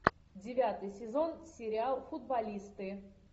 девятый сезон сериал футболисты